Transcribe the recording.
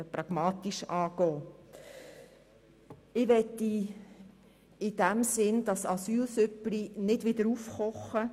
Ich möchte daher dieses «Asylsüppli» nicht wieder aufkochen.